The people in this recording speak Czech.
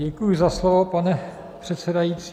Děkuji za slovo, pane předsedající.